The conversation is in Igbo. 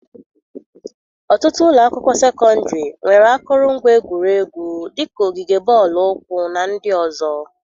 Ọtụtụ ụlọ akwụkwọ sekọndịrị nwere akụrụngwa egwuregwu dị ka ogige bọọlụ ụkwụ na ndị ọzọ.